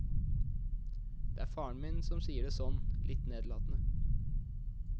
Det er faren som sier det sånn, litt nedlatende.